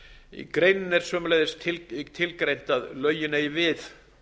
í greininni er sömuleiðis tilgreint að lögin eigi við